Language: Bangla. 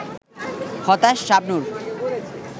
হতাশ শাবনূর